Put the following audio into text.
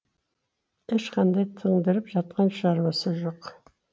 ешқандай тындырып жатқан шаруасы жоқ